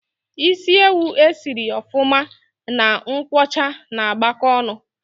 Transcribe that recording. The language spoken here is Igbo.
Ịsị ewu e si sịrị ofuma na nkwocha ná agbako ọṅụ